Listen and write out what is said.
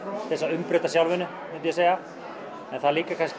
umbreyta sjálfinu myndi ég segja en það er líka